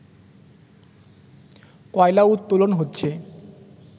কয়লা উত্তোলন হচ্ছে